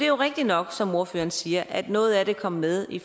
jo rigtigt nok som ordføreren siger at noget af det kom med i